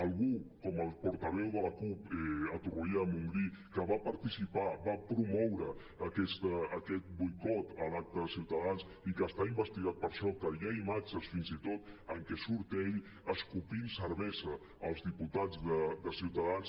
algú com el portaveu de la cup a torroella de montgrí que va participar va promoure aquest boicot a l’acte de ciutadans i que està investigat per això que hi ha imatges fins i tot en què surt ell escopint cervesa als diputats de ciutadans